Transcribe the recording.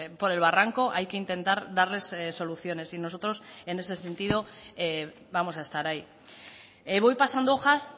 por el barranco hay que intentar darles soluciones y nosotros en ese sentido vamos a estar ahí voy pasando hojas